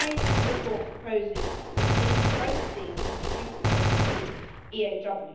My report proposes that both of these must be duplicated for the EAW.